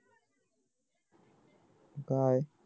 काय